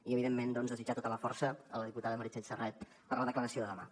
i evidentment doncs desitjar tota la força a la diputada meritxell serret per la declaració de demà